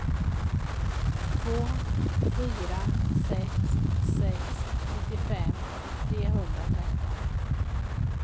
två fyra sex sex nittiofem trehundratretton